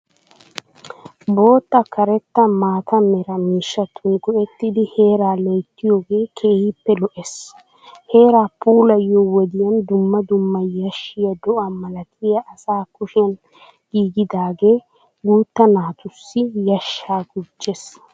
Bootta karetta maata mera miishshatun go'ettidi heeraa loyttiyoode keehippe lo'ees. Heeraa puulayiyo wodiya dumma dumma yashshiya do'a malatiya asa kushiyan giigidaagee gutta naatussi yashshaa gujjes.